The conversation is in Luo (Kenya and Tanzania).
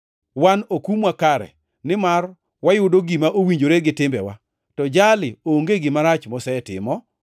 Wan okumwa kare, nimar wayudo gima owinjore gi timbewa. To jali onge gima rach mosetimo.”